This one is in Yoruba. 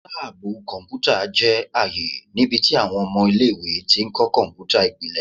Laabu kọnputa jẹ aaye nibiti awọn ọmọ ile-iwe ti kọ kọnputa ipilẹ